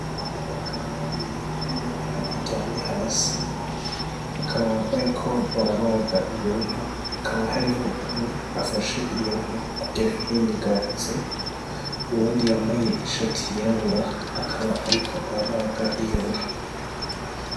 Abagabo babiri n' inka iryamye hasi, bakaba bariko barabaga iyo nka hakaba hariho umwe afashe iyo nka kugire ntiyinyiganze uwundi yambaye ishati yirabura akaba ariko arabaga iyo nka.